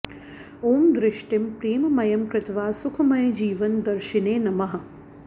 ॐ दृष्टिं प्रेममयं कृत्वा सुखमय जीवन दर्शिने नमः